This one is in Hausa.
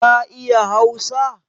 Ka iya hausa?